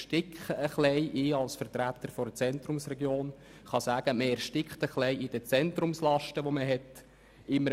Als Vertreter einer Zentrumsregion kann ich sagen, dass man fast in den Zentrumslasten erstickt: